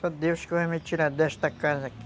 Só Deus que vai me tirar desta casa aqui.